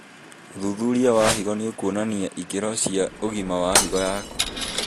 ũthuthuria wa higo nĩũkuonania ikĩro cia ũgima wa higo yaku